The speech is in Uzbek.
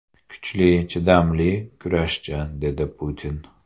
Kuchli, chidamli kurashchi”, dedi Putin.